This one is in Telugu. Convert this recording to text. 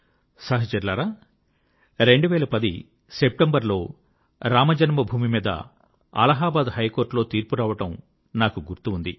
సహచరులారా 2010 సెప్టెంబర్లో రామజన్మభూమి మీద అలహాబాద్ హైకోర్ట్ లో తీర్పు రావడం నాకు గుర్తు ఉంది